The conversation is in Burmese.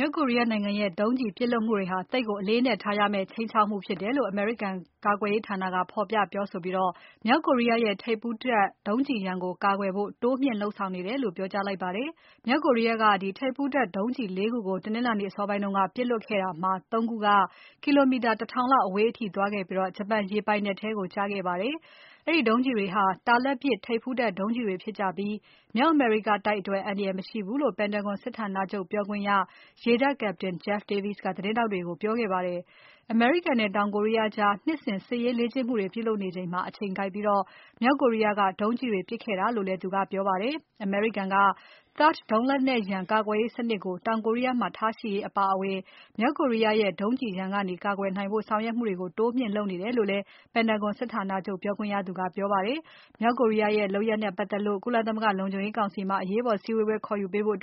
မြောက်ကိုရီးယားနိုင်ငံရဲ့ ဒုံးကျည်ပစ်လွှတ်မှုတွေဟာ သိပ်ကိုအလေးအနက်ထားရမယ့် ခြိမ်းခြောက်မှုဖြစ်တယ်လို့ အမေရိကန် ကာကွယ်ရေးဌာနက ဖော်ပြပြောဆိုပြီး မြောက်ကိုရီးယားရဲ့ ထိပ်ဖူးတပ် ဒုံးကျည်ရန်ကို ကာကွယ်ဖို့ တိုးမြှင့်လုပ်ဆောင်နေတယ်လို့ ပြောကြားလိုက်ပါတယ်။ မြောက်ကိုရီးယားက ထိပ်ဖူးတပ်ဒုံးကျည် ၄ ခုကို တနင်္လာနေ့အစောပိုင်းက ပစ်လွှတ်ခဲ့တာမှာ ၃ ခုက ကီလိုမီတာ ၁ ထောင်လောက်အဝေးအထိသွားပြီး ဂျပန်ရေပိုင်နက်ထဲကို ကျခဲ့ပါတယ်။ အဲဒီဒုံးကျည်တွေဟာ တာလတ်ပစ် ထိပ်ဖူးတပ်ဒုံးကျည်တွေဖြစ်ကြပြီး မြောက်အမေရိကတိုက်အတွက် အန္တရာယ်မရှိဘူးလို့ Pentagon စစ်ဌာနချုပ်ပြောခွင့်ရ ရေတပ် Captain Jeff Davis ကသတင်းထောက်တွေကို ပြောခဲ့ပါတယ်။ အမေရိကန်နဲ့ တောင်ကိုရီးယားကြား နှစ်စဉ် စစ်ရေးလေ့ကျင့်မှုတွေ ပြုလုပ်နေချိန်မှာ အချိန်ကိုက်ပြီး မြောက်ကိုရီးယားက ဒုံးကျည်တွေပြစ်ခဲ့တာလို့လည်း သူကပြောပါတယ်။ အမေရိကန်က THAAD ဒုံးလက်နက်ရန်ကာကွယ်ရေးစနစ်ကို တောင်ကိုရီးယားမှာ ထားရှိရေးအပါအဝင် မြောက်ကိုရီးယားရဲ့ ဒုံးကျည်ရန်ကနေ ကာကွယ်နိုင်ဖို့ဆောင်ရွက်မှုတွေကို တိုးမြှင့်လုပ်နေတယ်လို့လည်း Pentagon စစ်ဌာနချုပ်ပြောခွင့်ရသူကပြောခဲ့ပါတယ်။ မြောက်ကိုရီးယားရဲ့ လုပ်ရပ်နဲ့ပတ်သက်လို့ ကုလသမဂ္ဂ လုံခြုံရေးကောင်စီမှာ အရေးပေါ်စည်းဝေးပွဲခေါ်ယူပေးဖို့